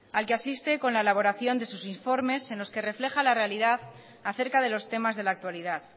al que asiste con la elaboración de sus informes en los que refleja la realidad acerca de los temas de la actualidad